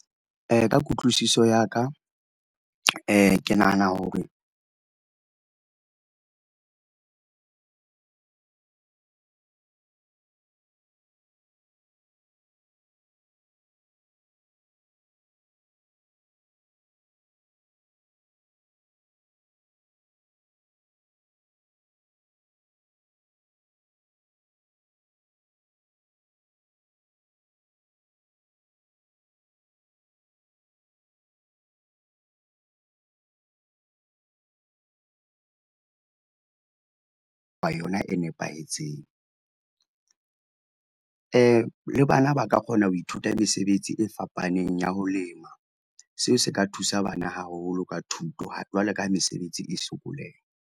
Ka kutlwisiso ya ka, ke nahana hore yona e nepahetseng. Le bana ba ka kgona ho ithuta mesebetsi e fapaneng ya ho lema. Seo se ka thusa bana haholo ka thuto, jwalo ka ha mesebetsi e sokoleha.